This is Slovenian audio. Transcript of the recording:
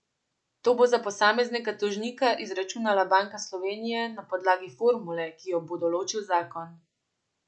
To bo za posameznega tožnika izračunala Banka Slovenije na podlagi formule, ki jo bo določil zakon.